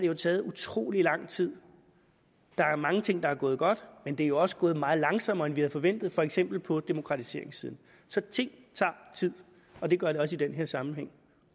har taget utrolig lang tid der er mange ting der er gået godt men det er også gået meget langsommere end vi havde forventet for eksempel på demokratiseringssiden så ting tager tid og det gør de også i den her sammenhæng